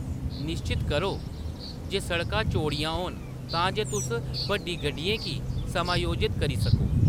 निश्चत करो जे सड़कां चौड़ियां होन तां जे तुस बड्डी गड्डियें गी समायोजत करी सको।